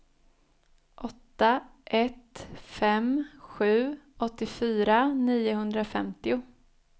åtta ett fem sju åttiofyra niohundrafemtio